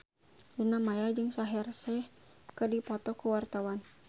Luna Maya jeung Shaheer Sheikh keur dipoto ku wartawan